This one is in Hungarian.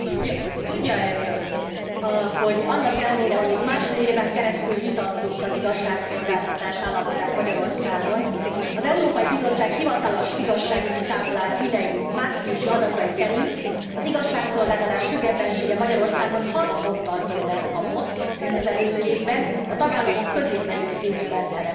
Tudja e Ön, hogy annak ellenére, hogy itt másfél éven keresztül vitattuk az igazságszolgáltatás állapotát Magyarországon, az Európai Bizottság hivatalos igazságügyi táblája idei márciusi adatai szerint az igazságszolgáltatás függetlensége Magyarországon 6 ponttal többet kapott, mint az előző évben, a tagállamok középmezőnyében szerepel.